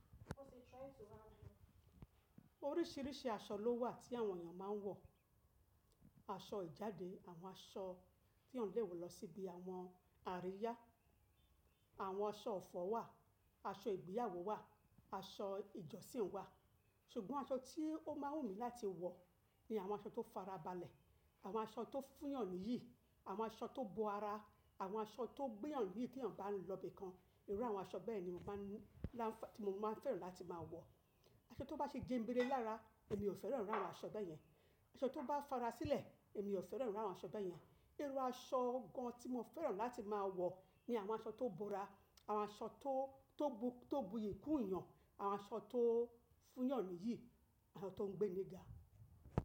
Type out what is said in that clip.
Oríṣiríṣi aṣọ lówà tí àwọn èèyàn máa ń wọ̀, aṣọ ìjáde, àwọn aṣọ tí èèyàn lè wọ̀ lọ síbi àwọn àríyá, àwọn aṣọ ọ̀fọ̀ wà, aṣọ ìgbéyàwó wà, aṣọ ìjọsìn wà, ṣùgbọ́n aṣọ tí ó máa wù mí láti wọ̀ ni àwọn aṣọ tó fara balẹ̀, àwọn aṣọ tó fún yàn níyì, àwọn aṣọ tó bo ara, àwọn aṣọ tó gbéyàn níyì tí èèyàn bá ń lọ ibìkan, irú àwọn aṣọ bẹ́ẹ̀ ni mo máa ń, lá ti mo máa fẹ́ràn láti máa wọ̀. Aṣọ tó bá ṣe jẹ́ ń bere lára èmi ò fẹ́ràn irú àwọn aṣọ bẹ́ẹ̀ yẹn, aṣọ tó bá fara sílẹ̀ èmi ò fẹ́ràn irú àwọn aṣọ bẹ́ẹ̀ yẹn. Irú aṣọ gan tí mo fẹ́ràn láti máa wọ̀ ni àwọn aṣọ tó bo ara, àwọn aṣọ tó, tó bu, tó buyì kún èèyàn, àwọn aṣọ tó fún yàn níyì, àwọn aṣọ tó ń gbé níga.